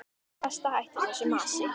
Best að hætta þessu masi.